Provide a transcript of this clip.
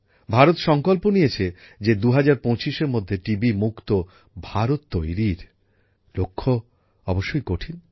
ভারত সংকল্প নিয়েছে যে ২০২৫এর মধ্যে টিবি মুক্ত ভারত তৈরীর লক্ষ্য অবশ্যই কঠিন